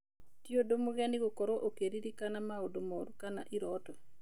Tĩ ũndũ mũgeni gũkorwo ũkĩririkana maũndũ moru kana iroto.